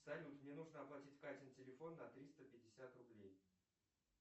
салют мне нужно оплатить катин телефон на триста пятьдесят рублей